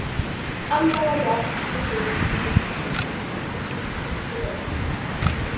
Annað var blátt með hring í, hitt brúnt og dökkt.